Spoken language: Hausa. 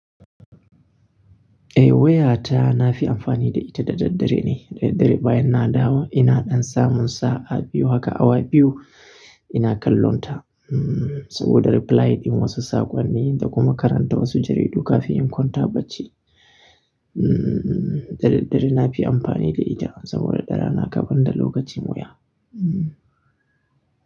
Eh wayata na fi amfani da ita da daddare ne. Daddare bayan na dawo ina ɗan samun sa'a biyu haka awa biyu ina kallonta. Saboda reply ɗin wasu saƙonnin da kuma karanta wasu jaridu kafin in kwanta bacci. Hmmm daddare na fi amfani da ita saboda ɗara na gabar da lokaci.